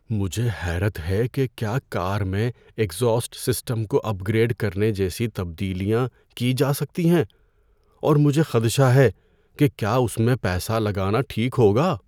مجھے حیرت ہے کہ کیا کار میں ایگزاسٹ سسٹم کو اپ گریڈ کرنے جیسی تبدیلیاں کی جا سکتی ہیں اور مجھے خدشہ ہے کہ کیا اس میں پیسہ لگانا ٹھیک ہوگا۔